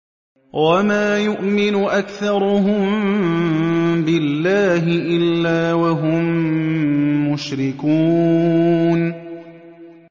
وَمَا يُؤْمِنُ أَكْثَرُهُم بِاللَّهِ إِلَّا وَهُم مُّشْرِكُونَ